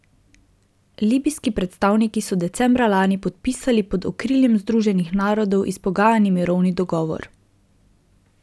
Libijski predstavniki so decembra lani podpisali pod okriljem Združenih narodov izpogajani mirovni dogovor.